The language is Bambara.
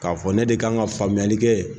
K'a fɔ ne de kan ka faamuyali kɛ